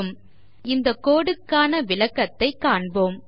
இப்பொழுது இந்த கோடு க்கான விளக்கத்தைக் காண்போம்